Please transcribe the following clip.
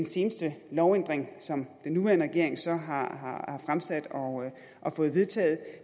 seneste lovændring som den nuværende regering så har fremsat og fået vedtaget